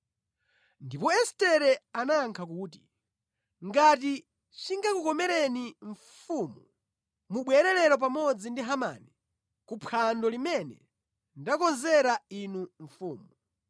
Ndipo Estere anayankha kuti, “Ngati chingakukomereni, mfumu, mubwere lero pamodzi ndi Hamani kuphwando limene ndakonzera inu mfumu.”